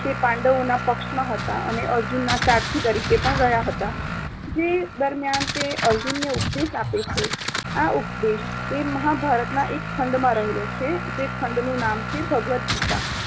તે પાંડવોના પક્ષમાં હતા અને અર્જુનના સારથી તરીકે પણ રહ્યા હતા. જે દરમ્યાન તે અર્જુનને ઉપદેશ આપે છે. આ ઉપદેશ તે મહાભારતના એક ખંડમાં રહેલો છે, જે ખાંડ નું નામ છે ભગવદ્ ગીતા